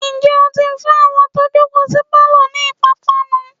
ǹjẹ́ ó ti fún àwọn tó jòkó sí pálọ̀ ni ìpápánu?